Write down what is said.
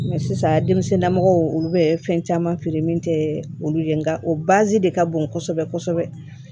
sisan denmisɛnninnamɔgɔw olu bɛ fɛn caman feere min tɛ olu ye nka o baazi de ka bon kosɛbɛ kosɛbɛ